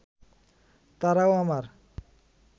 তারাও আমার